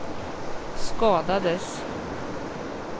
skadades